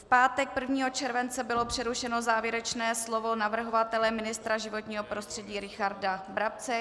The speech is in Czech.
V pátek 1. července bylo přerušeno závěrečné slovo navrhovatele ministra životního prostředí Richarda Brabce.